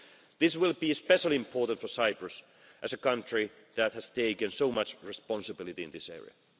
This will be especially important for Cyprus, as a country that has taken so much responsibility in this area.